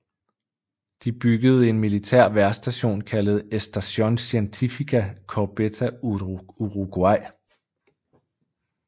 De byggede en militær vejrstation kaldet Estación Científica Corbeta Uruguay